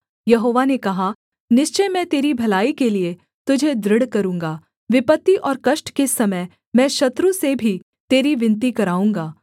यहोवा ने कहा निश्चय मैं तेरी भलाई के लिये तुझे दृढ़ करूँगा विपत्ति और कष्ट के समय मैं शत्रु से भी तेरी विनती कराऊँगा